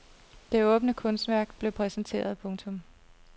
Det åbne kunstværk blev præsenteret. punktum